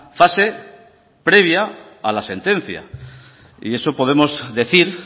fase previa a la sentencia y eso podemos decir